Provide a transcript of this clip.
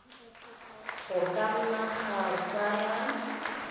go ka nna ga tsaya